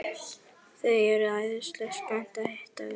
Þau eru æðislega spennt að hitta þig.